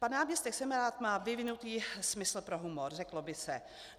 Pan náměstek Semerád má vyvinutý smysl pro humor, řeklo by se.